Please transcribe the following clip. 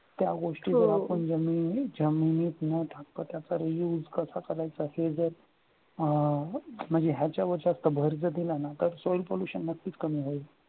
त्या गोष्टी जर आपण